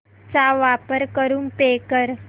चा वापर करून पे कर